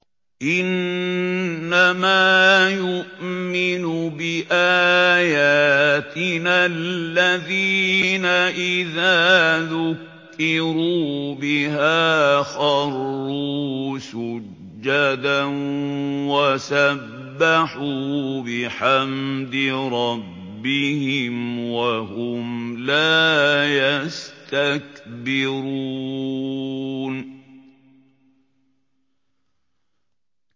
إِنَّمَا يُؤْمِنُ بِآيَاتِنَا الَّذِينَ إِذَا ذُكِّرُوا بِهَا خَرُّوا سُجَّدًا وَسَبَّحُوا بِحَمْدِ رَبِّهِمْ وَهُمْ لَا يَسْتَكْبِرُونَ ۩